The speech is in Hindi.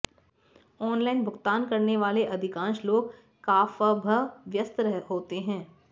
ऑनलाइन भुगतान करने वाले अधिकांश लोग काफभ् व्यस्त होते हैं